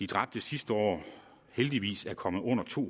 dræbte sidste år heldigvis er kommet under to